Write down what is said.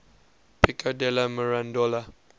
pico della mirandola